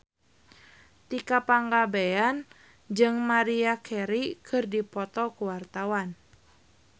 Tika Pangabean jeung Maria Carey keur dipoto ku wartawan